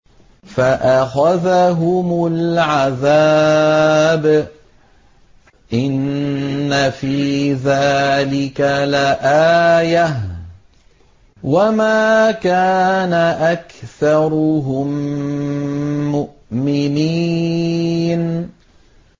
فَأَخَذَهُمُ الْعَذَابُ ۗ إِنَّ فِي ذَٰلِكَ لَآيَةً ۖ وَمَا كَانَ أَكْثَرُهُم مُّؤْمِنِينَ